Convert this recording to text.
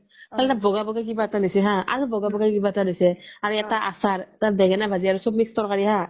অলপ বগা বগা কিবা এটা দিছে আৰু বগা বগা কিবা এটা দিছে আৰু এটা আচাৰ আৰু এটা ভেনংেনা ভাজি আৰু চ্ব mix তৰকাৰি হা